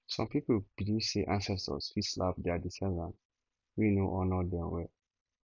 some people believe say ancestors fit slap their descendants wey no honour dem well